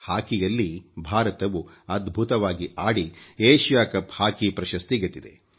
ಹಾಕಿಯಲ್ಲಿ ಭಾರತವು ಅದ್ಭುತವಾಗಿ ಆಡಿ ಏಶಿಯ ಕಪ್ ಹಾಕಿ ಪ್ರಶಸ್ತಿ ಗೆದ್ದಿದೆ